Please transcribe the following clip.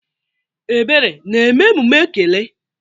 Ebere na-eme emume ekele?